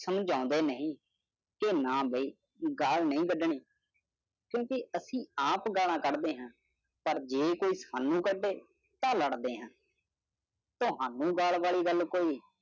ਸੰਜੋਂਦੇ ਨਹੀਂ ਕੇ ਨਾ ਬਹਿ ਗਾਲ ਨਹੀਂ ਕੱਢਣੀ ਕਿਉਕਿ ਐਸੀ ਆਪ ਗਾਲ੍ਹਾਂ ਕੱਢਦੇ ਹਾਂ ਪਰ ਜੇ ਕੋਈ ਸਾਨੂ ਕੱਢੇ ਤਾਂ ਲੜਦੇ ਹਾਂ। ਤੁਹਾਨੂੰ ਗਾਲ ਵਾਲੀ ਕੋਈ